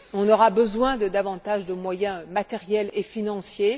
On aura besoin de davantage de moyens matériels et financiers.